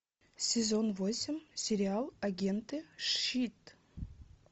сезон восемь сериал агент и щит